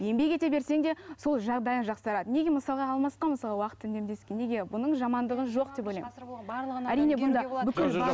еңбек ете берсең де сол жағдайың жақсарады неге мысалы алмасқа мысалы уақыт неге мұның жамандығы жоқ деп ойлаймын